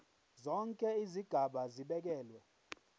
zonke izigaba zibekelwe